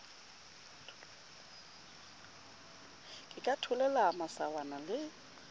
ke ka tholela masawana le